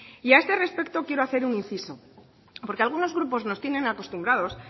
y a este respecto quiero hacer un inciso porque algunos grupos nos tienen acostumbrados